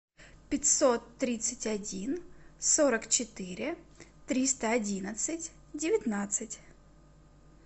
пятьсот тридцать один сорок четыре триста одинадцать девятнадцать